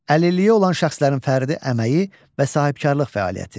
Əlilliyi olan şəxslərin fərdi əməyi və sahibkarlıq fəaliyyəti.